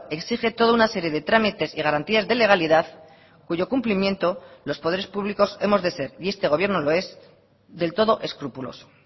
exige toda una serie de trámites y garantías de legalidad cuyo cumplimiento los poderes públicos hemos de ser y este gobierno lo es del todo escrupuloso